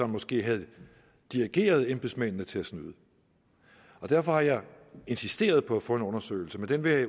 måske havde dirigeret embedsmændene til at snyde og derfor har jeg insisteret på at få en undersøgelse men den vil